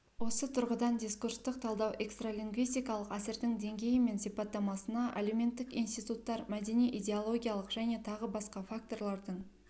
осы тұрғыдан дискурстық талдау экстралингвистикалық әсердің деңгейі мен сипаттамасына әлеуметтік институттар мәдени идеологиялық және тағы басқа факторлардың